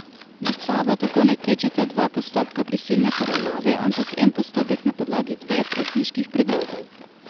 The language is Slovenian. Nad Savo tako ne tečeta dva postopka prisilne poravnave, ampak en postopek na podlagi dveh upniških predlogov.